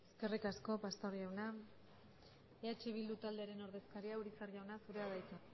eskerrik asko pastor jauna eh bildu taldearen ordezkaria urizar jauna zurea da hitza